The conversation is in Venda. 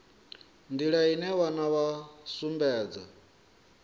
nḓila ine vhana vha sumbedza